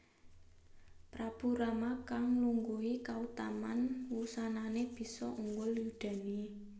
Prabu Rama kang nglungguhi kautaman wusanané bisa unggul yudané